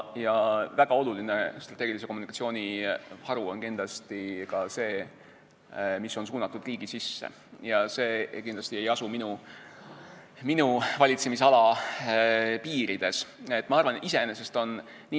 Väga oluline strateegilise kommunikatsiooni haru on kindlasti ka see, mis on suunatud riigi sisse, ja see kindlasti ei asu minu valitsemisala piirides.